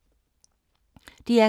DR K